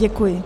Děkuji.